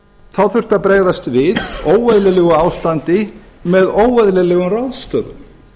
þá þurfti að bregðast við óeðlilegu ástandi með óeðlilegum ráðstöfunum